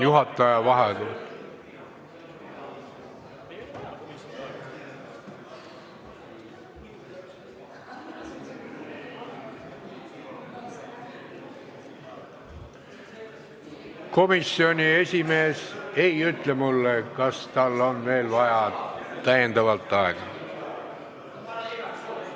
Komisjoni esimees ei ütle mulle, kas tal on veel täiendavalt aega vaja.